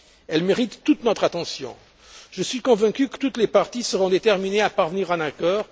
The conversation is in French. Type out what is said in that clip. Elles méritent toute notre attention. Je suis convaincu que toutes les parties seront déterminées à parvenir à un accord.